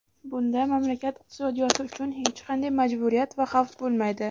bunda mamlakat iqtisodiyoti uchun hech qanday majburiyat va xavf bo‘lmaydi.